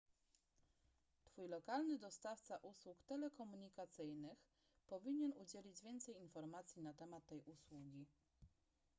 twój lokalny dostawca usług telekomunikacyjnych powinien udzielić więcej informacji na temat tej usługi